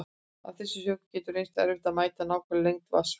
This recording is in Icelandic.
Af þessum sökum getur reynst erfitt að mæla nákvæma lengd vatnsfalla.